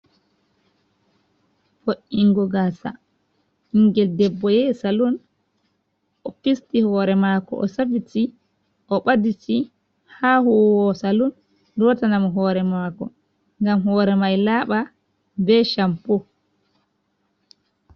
Vo'ingo gasa, ɓingil debbo yahi salun, o fisti hore mako o safiti, o ɓaditi ha huwowo salun, lotinamo hore mako gam hore mai laba ɓe champ.